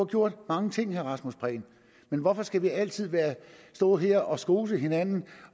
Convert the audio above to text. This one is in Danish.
gjort mange ting vil rasmus prehn men hvorfor skal vi altid stå her og skose hinanden